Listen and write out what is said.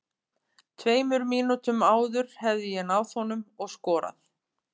Tveimur mínútum áður hefði ég náð honum og skorað.